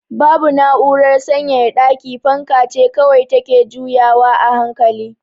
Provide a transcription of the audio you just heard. Babu na'urar sanyaya daki, fanka ce kawai take juyawa a hankali.